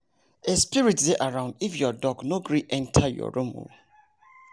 a spirit dey around if your dog no gree enter your room o